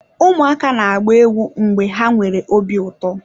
Ụmụaka na-agba egwu mgbe ha nwere obi ụtọ.